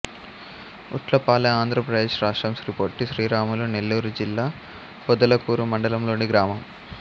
ఉట్లపాలెం ఆంధ్ర ప్రదేశ్ రాష్ట్రం శ్రీ పొట్టి శ్రీరాములు నెల్లూరు జిల్లా పొదలకూరు మండలం లోని గ్రామం